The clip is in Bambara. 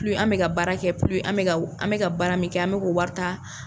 an mɛ ka baara kɛ an bɛ ka an mɛ baara min kɛ an mɛ k'o wari ta.